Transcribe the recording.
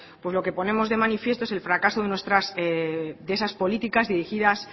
pues lo que ponemos de manifiesto es el fracaso de nuestras de esas políticas dirigidas